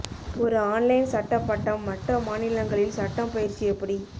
ஒரு ஆன்லைன் சட்ட பட்டம் மற்ற மாநிலங்களில் சட்டம் பயிற்சி எப்படி